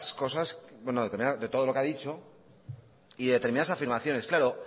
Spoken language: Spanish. cosas bueno de todo lo que ha dicho y determinadas afirmaciones claro